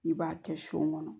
I b'a kɛ sɔ kɔnɔ